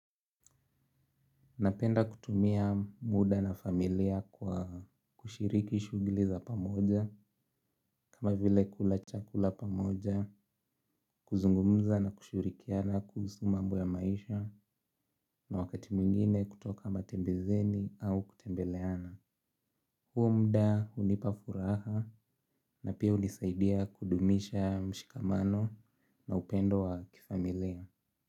Napenda kutumia muda na familia kwa kushiriki shughuli za pamoja kama vile kula chakula pamoja kuzungumza na kushirikiana kuhusu mambo ya maisha na wakati mwingine kutoka matembezeni au kutembeleana. Huo muda hunipa furaha na pia hunisaidia kudumisha mshikamano na upendo wa kifamilia.